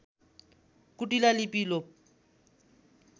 कुटिला लिपि लोप